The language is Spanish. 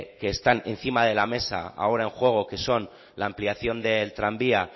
que están encima de la mesa ahora en juego que son la ampliación del tranvía